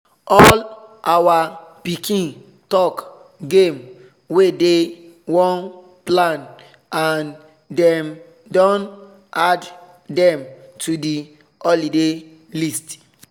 all our pikin talk game wey dey wan plan and dem don add dem to the holiday list